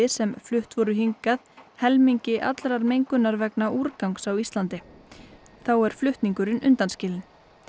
sem flutt voru hingað helmingi allrar mengunar vegna úrgangs á Íslandi þá er flutningurinn undanskilinn